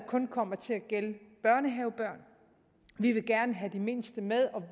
kun kommer til at gælde børnehavebørn vi vil gerne have de mindste med